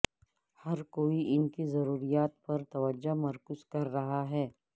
ہر کوئی ان کی ضروریات پر توجہ مرکوز کر رہا ہے